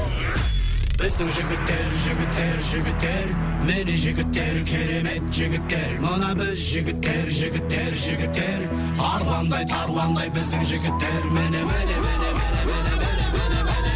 біздің жігіттер жігіттер жігіттер міне жігіттер керемет жігіттер мына біз жігіттер жігіттер жігіттер арландай тарландай біздің жігіттер міне міне міне міне міне міне міне міне міне